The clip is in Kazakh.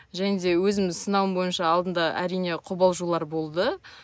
және де өзімнің сынауым бойынша алдында әрине қобалжулар болды